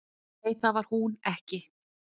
"""Nei, það var hún ekki."""